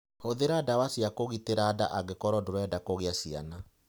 Hũthĩra ndawa cia kũgitĩra nda angĩkorũo ndũrenda kũgĩa ciana.